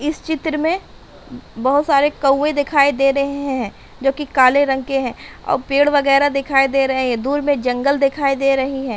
इस चित्र में बहोत सारे कौवे दिखाई दे रहे है जो कि काले रंग के हैं और पेड़ वगैरा दिखाई दे रहे हैं। दूर में जंगल दिखाई दे रही है।